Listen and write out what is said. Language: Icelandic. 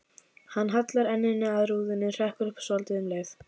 Hann hallar enninu að rúðunni, hrekkur upp svotil um leið.